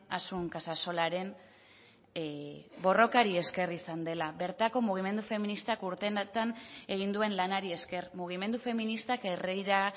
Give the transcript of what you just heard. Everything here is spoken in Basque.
asun casasolaren borrokari esker izan dela bertako mugimendu feministak urteetan egin duen lanari esker mugimendu feministak herrira